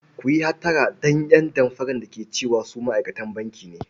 Ku yi hattara da ƴan damfara da ke cewa su ma'aikatan banki ne.